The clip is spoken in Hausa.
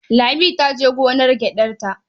Lami ta je gonar gyaɗarta.